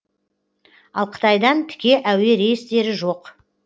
ал қытайдан тіке әуе рейстері жоқ